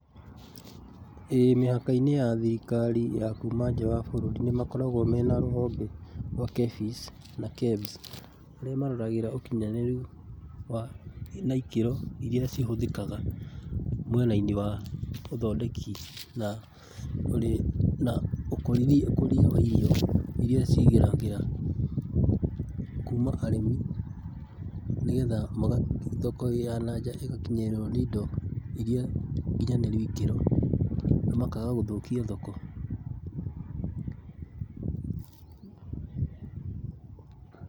ĩĩ mĩhaka-inĩ ya thirikari ya kuuma nja wa bũrũri nĩ makoragwo mena rũhonge rwa KEPHIS na KEBS, harĩa maroraga ũkinyanĩru na ikĩro irĩa ihũthĩkaga mwena-inĩ wa ũthondeki na ũrĩ na ũkũria wa irio irĩa cigeragĩra kuuma arĩmi, nĩgetha thoko ya na nja ĩgakinyĩrwo nĩ indo irĩa nginyanĩru ikĩro na makaaga gũthũkia thoko.